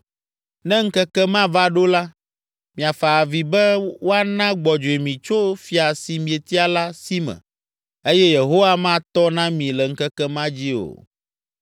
Ne ŋkeke ma va ɖo la, miafa avi be woana gbɔdzɔe mi tso fia si mietia la si me eye Yehowa matɔ na mi le ŋkeke ma dzi o.”